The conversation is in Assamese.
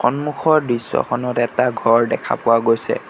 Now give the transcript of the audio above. সন্মুখৰ দৃশ্যখনত এটা ঘৰ দেখা পোৱা গৈছে।